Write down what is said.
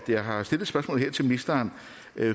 jeg har stillet spørgsmålet her til ministeren